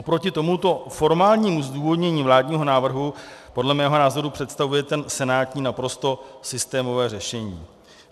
Oproti tomuto formálnímu zdůvodnění vládního návrhu podle mého názoru představuje ten senátní naprosto systémové řešení.